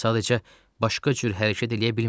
Sadəcə, başqa cür hərəkət eləyə bilmirəm.